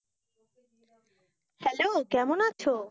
Hello কেমন আছো?